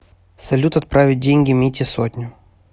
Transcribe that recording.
салют отправить деньги мите сотню